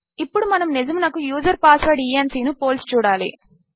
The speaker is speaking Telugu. ఇప్పుడు మనము నిజమునకు యూజర్ పాస్వర్డ్ ఇఎన్సీ ను పోల్చి చూడాలి